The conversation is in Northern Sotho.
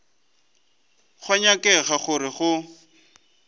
go a nyakega gore go